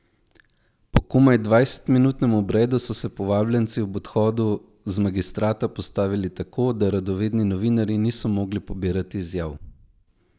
Po komaj dvajsetminutnem obredu so se povabljenci ob odhodu z magistrata postavili tako, da radovedni novinarji niso mogli pobirati izjav.